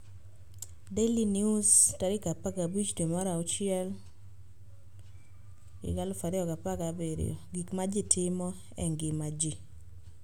Daily News 15/6/17: "Gik ma Ji Timo e Ngima Ji"